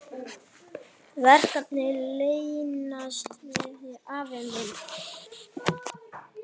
Verkin leynast víða, afi minn.